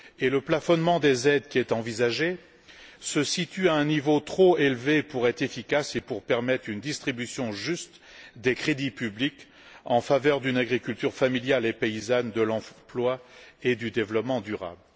Le plafonnement des aides envisagé se situe à un niveau trop élevé pour être efficace et pour permettre une distribution juste des crédits publics en faveur d'une agriculture familiale et paysanne, de l'emploi et du développement durable.